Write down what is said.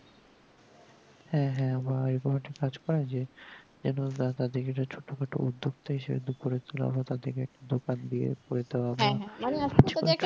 হ্যাঁ হ্যাঁ আবার একটা কাজ করে যে যেন তাদের ছোটোখাটো উদ্যোগটা এসে উদ্যোগ করে তোলা বা তাদেরকে দোকান দিয়ে